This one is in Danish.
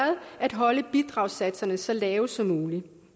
at holde bidragssatserne så lave som muligt